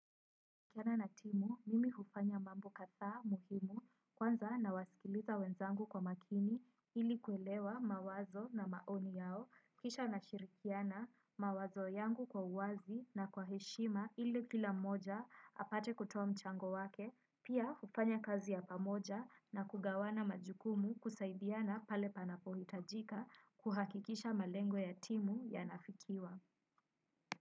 Nikiwa na timu, mimi hufanya mambo kadhaa muhimu kwanza na wasikiliza wenzangu kwa makini ili kuelewa mawazo na maoni yao, kisha nashirikiana mawazo yangu kwa uwazi na kwa heshima ili kila moja apate kutoa mchango wake, pia hufanya kazi ya pamoja na kugawana majukumu kusaidiana pale panapo hitajika kuhakikisha malengo ya timu yanafikiwa.